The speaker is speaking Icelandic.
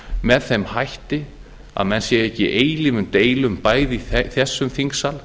með þeim hætti að menn séu ekki í eilífum deilum bæði í þessum þingsal